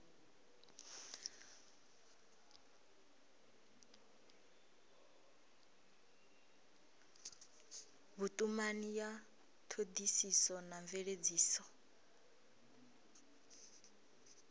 vhutumani ya thodisiso na mveledziso